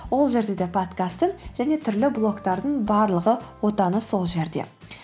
ол жерде де подкасттың және түрлі блогтардың барлығы отаны сол жерде